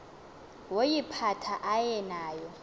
woyiphatha aye nayo